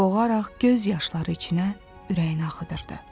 boğaraq göz yaşları içində ürəyini axıdırdı.